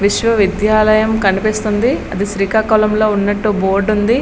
విశ్వ విద్యాలయం కనిపిస్తుంది అది శ్రీకాకుళంలో ఉన్నట్టు బోర్డు ఉంది.